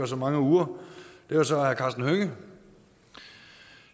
så mange uger og det var så herre karsten hønge